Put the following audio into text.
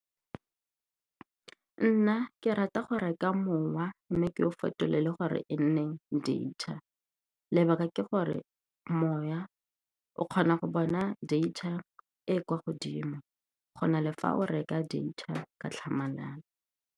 Nna ke ke rata go reka mowa, mme ke o fetolelwe gore e nne data. Lebaka ke gore moya o kgona go bona data e e kwa godimo go na le fa o reka data ka tlhamalalo.